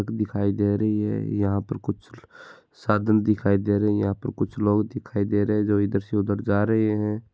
दिखाई दे रही है यहाँ पे कुछ साधन दिखाई दे रहे है यहाँ पर कुछ लोग दिखाई दे रहे है जो इधर से उधर जा रहे है।